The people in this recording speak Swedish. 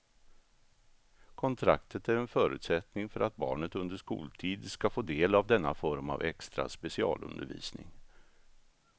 Kontraktet är en förutsättning för att barnet under skoltid ska få del av denna form av extra specialundervisning.